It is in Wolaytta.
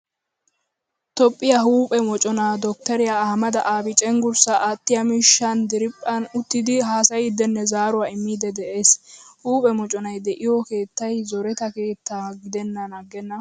Toophphiyaa huuphphe moccona dokteriya Ahameda Abii cenggurssa aattiyaa miishshan diriphphan uttidi haasayidinne zaaruwaa immidi de'ees. Huuphphe moconay de'iyo keettay zoretta keettan gidenan aggena.